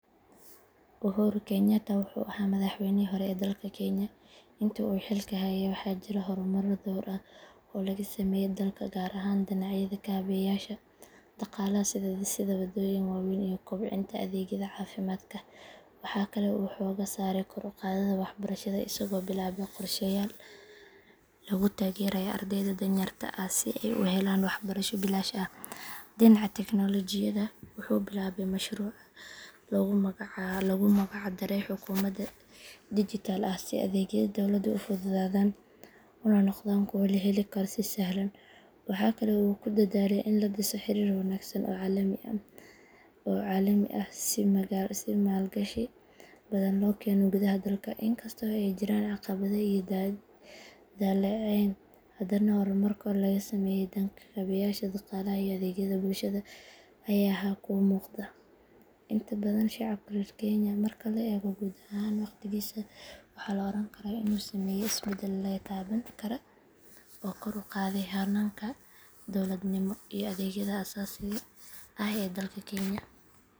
Uhuru Kenyatta wuxuu ahaa madaxweynihii hore ee dalka Kenya intii uu xilka hayay waxaa jiray horumaro dhowr ah oo laga sameeyay dalka gaar ahaan dhinacyada kaabeyaasha dhaqaalaha sida dhisidda waddooyin waaweyn iyo kobcinta adeegyada caafimaadka. Waxaa kale oo uu xoogga saaray kor u qaadidda waxbarashada isagoo bilaabay qorshayaal lagu taageerayo ardayda danyarta ah si ay u helaan waxbarasho bilaash ah. Dhinaca tiknoolajiyadda wuxuu bilaabay mashruuca loogu magac daray xukuumad dijitaal ah si adeegyadii dowladdu u fududaadaan una noqdaan kuwo la heli karo si sahlan. Waxaa kale oo uu ku dadaalay in la dhiso xiriir wanaagsan oo caalami ah si maalgashi badan loo keeno gudaha dalka. Inkasta oo ay jireen caqabado iyo dhaleeceyn, haddana horumarka laga sameeyay dhanka kaabeyaasha dhaqaalaha iyo adeegyada bulshada ayaa ahaa kuwo muuqda inta badan shacabka reer Kenya. Marka la eego guud ahaan waqtigiisa, waxaa la oran karaa inuu sameeyay isbeddello la taaban karo oo kor u qaaday hanaanka dowladnimo iyo adeegyada aasaasiga ah ee dalka Kenya.